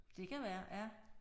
Det kan være ja